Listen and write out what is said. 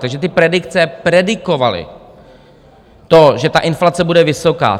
Takže ty predikce predikovaly to, že ta inflace bude vysoká.